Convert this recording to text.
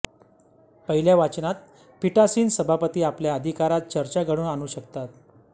पहिल्या वाचनात पीठासीन सभापती आपल्या अधिकारात चर्चा घडवून आणू शकतात